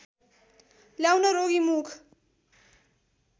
ल्याउन रोगी मुख